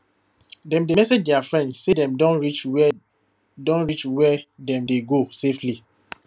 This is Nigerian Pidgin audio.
dem dey message their friend say dem don reach where don reach where dem dey go safely